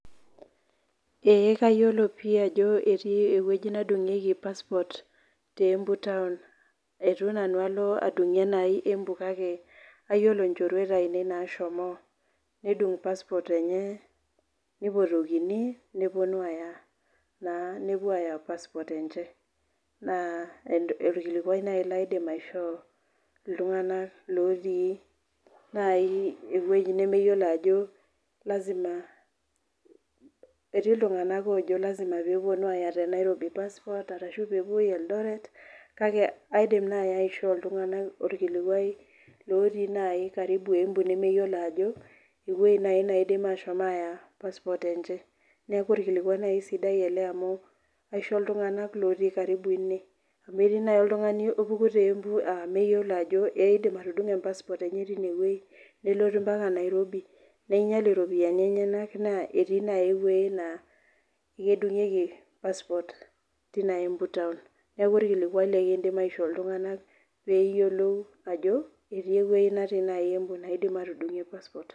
Ee kayioolo pii ajo etii ewueji nadungieki passport te embu town eitu nanu alo adungie enaai embu kake ayiolo nchorueti ainei nashomo, nedung passport enye, nipotikini, nepuonu aaya , nepuo aya, passport enche. Naa orkilikuai naaji laidim aishoo iltunganak otii ewueji nemeyiolo ajo lazima etii iltunganak oojo lasima pee epuonu aya te nairobi passport, ashu pee epuoi eldoret. Kake aidim naaji aishoo iltunganak orkilikuai lotii naaji karibu embu lemeyiolo ajo ewueji nemepuonu aya passport enche neeku orkilikuai naaji sidai ele amu kaisho iltunganak lotii karibu ene. Amu etii naaji oltungani opuki te embu meyiolo Ako eidim atudungo e passport enye teine wueji, nelotu mpaka Nairobi, neingiel iropiyiani enyenak naa etii naaji ewueji, naa kedungieki passport teina embu taon. neeku olkiluai likidim aishoo, iltunganak peeyiolou ajo etii ewueji netii naaji embu naidim aatudungie passport.